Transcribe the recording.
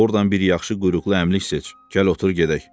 Ordan bir yaxşı quyruqlu əmlik seç, gəl otur gedək.